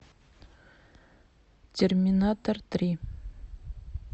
терминатор три